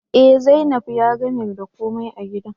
Eh, zainab ya gamer da ko mai a gidan